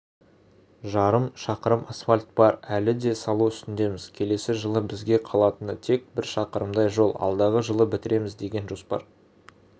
жарым шақырым асфальт бар әлі де салу үстіндеміз келесі жылы бізге қалатыны тек бір шақырымдай жол алдағы жылы бітіреміз деген жоспар